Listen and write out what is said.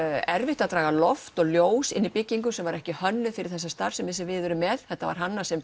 erfitt að draga loft og ljós inn í byggingu sem var ekki hönnuð fyrir þessa starfsemi sem við erum með þetta var hannað sem